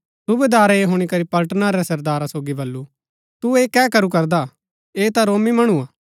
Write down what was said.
सूबेदारै ऐह हुणी करी पलटना रै सरदारा सोगी बल्लू तु ऐह कै करू करदा ऐह ता रोमी मणुआ